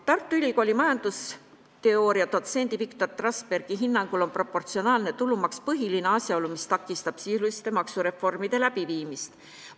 Tartu Ülikooli majandusteooria dotsendi Viktor Trasbergi hinnangul on proportsionaalne tulumaks põhiline asjaolu, mis takistab sisuliste maksureformide läbiviimist.